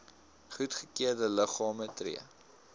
goedgekeurde liggame tree